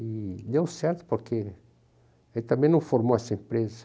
E deu certo, porque ele também não formou essa empresa.